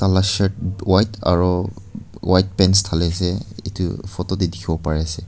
Tai la shirt white aro white pants thaliase edu photo tae dikhiwo parease.